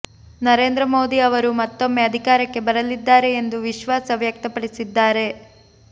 ನರೇಂದ್ರ ಮೋದಿ ಅವರು ಮತ್ತೊಮ್ಮೆ ಅಧಿಕಾರಕ್ಕೆ ಬರಲಿದ್ದಾರೆ ಎಂದು ವಿಶ್ವಾಸ ವ್ಯಕ್ತಪಡಿಸಿದ್ದಾರೆ